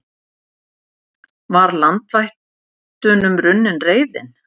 Var landvættunum runnin reiðin?